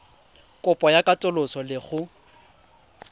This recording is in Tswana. kopo ya katoloso le go